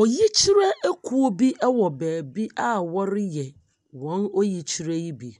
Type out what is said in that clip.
Oyikyerɛ ekuo bi ɛwɔ baabi a ɔreyɛ wɔn oyikyerɛ yi bi